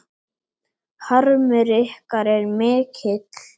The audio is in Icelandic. Harmur ykkar er mikill.